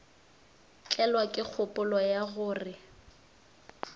tlelwa ke kgopolo ya gore